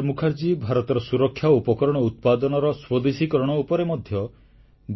ଡ ମୁଖାର୍ଜୀଙ୍କର ଭାରତର ସୁରକ୍ଷା ଉପକରଣ ଉତ୍ପାଦନର ସ୍ୱଦେଶୀକରଣ ଉପରେ ମଧ୍ୟ